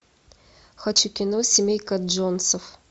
хочу кино семейка джонсов